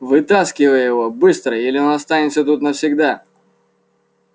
вытаскивай его быстро или он останется тут навсегда